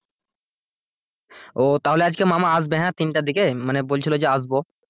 ও তাহলে আজকে মামা আসবে হ্যাঁ তিনটার দিকে মানে বলছিল যে আসবো।